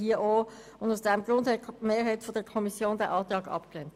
Deshalb hat die Mehrheit der Kommission diesen Antrag abgelehnt.